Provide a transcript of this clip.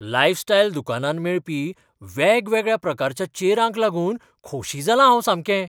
Lifestyle दुकानांत मेळपी वेगवेगळ्या प्रकारच्या चेरांक लागून खोशी जालां हांव सामकें.